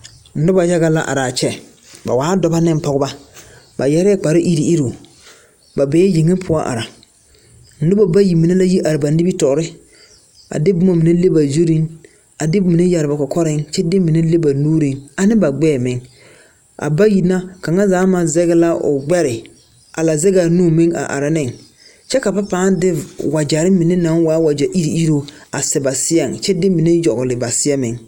Nobɔ yaga la araa kyɛ ba waa dɔbɔ neŋ pɔgebɔ ba yɛrɛɛ kpare iruŋ iruŋ ba bee yeŋe poɔ are a nobɔ bayi mine la yi are ba nimitoore a de boma mine le ba zurreŋ a de mine yɛre ba kɔkɔreŋ kyɛ de mine le ba nuuriŋ ane ba gbɛɛ meŋ a bayi na kaŋa zaa maŋ zege la o gbɛre a la zegaa nu meŋ a are neŋ kyɛ ka ba pãã de wagyɛrre mine naŋ waa wagyɛ iruŋ iruŋ a sɛ ba seɛŋ kyɛ de mine yogle ba seɛ meŋ.